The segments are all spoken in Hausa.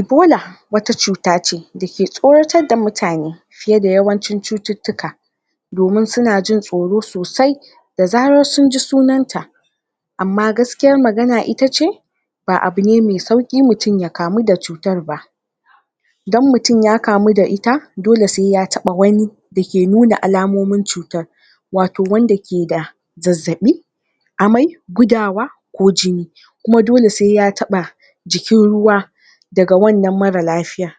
ebola wata cuta ce dake tsoratar da mutane fiye da yawancin cututtuka domin suna jin tsoro sosai da zarar sunji sunan ta amma gaskiyar magana itace ba abu ne mai sauki mutum ya kamu da cutar ba idan mutum ya kamu da ita dole sai ya taba wani da ke nuna alamomin cutar wato wanda ke da zazzabi amai gudawa ko jini kuma dole sai ya taba jikin ruwa daga wannan mara lafiya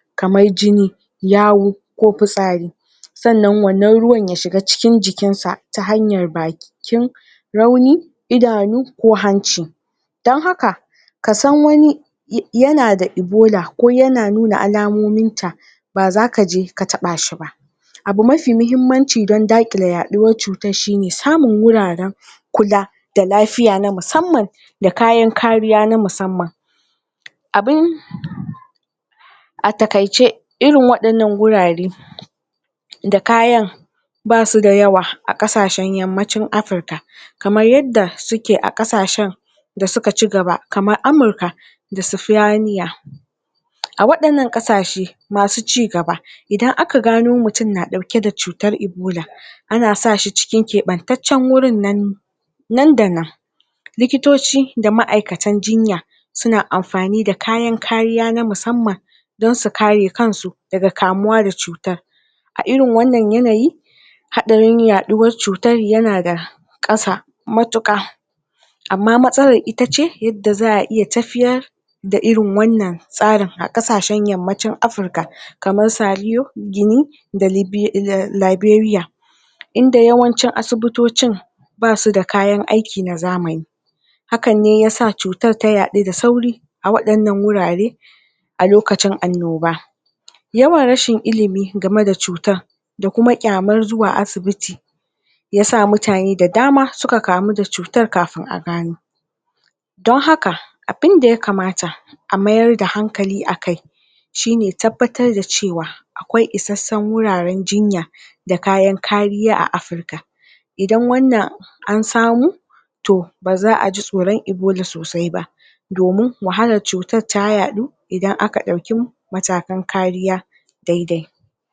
jini yawu ko fitsari sannan wannan ruwan ya shiga cikin jikinsa ta hanyar bakin rauni, idanu ko hanci dan haka kasan wani yana da ebola ko yana nuna alamominta baza kaje ka tabashi ba abu mafi muhimmanci don da kile yaduwar cutar shine samun wuraren kula da lafiya na musamman da kayan kariya na musamman abun a takaice irin wannan gurare da kayan basu da yawa a kasashen yammacin afrika kamar yadda suke a kasashen da suka ci gaba kamar amurka da sifaniya a wadan nan kasashe masu cigaba idan aka gano mutum na dauke da cutar ebola ana sa shi cikin keɓeben wurin nan ne nan da nan likitoci da ma'aikatan jinya suna amfani da kayan kariya na musamman don su kare kansu daga kamuwa da cutar a irin wannan yana yi hadarin yaduwar cutar yanada kasa matuka amma matsalar itace yadda za'a iya tafiyar da irin wannan tsarin kasashen yammacin afrika kamar saliyo da libya da libaria inda yawanci asibitocin basu da kayan aiki na zamani hakan ne yasa cutar ta yadu da sauri a wadannan wurare a lokacin annoba yawan rashin ilimi game da cutar da kuma kyamar zuwa asibiti ya sa mutane da dama suka kamu da cutar a gane don haka abun da ya kamata a mayar da hankali a kai shine ya tabbatar cewa akwai isashen wuraren jinya da kayan kariya a afrika idan wannan an samu to ba'a ji tsoron ebola sosai ba domin wahalar cutar yadu idan aka dauki matakan kariya daidai